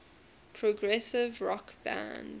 progressive rock band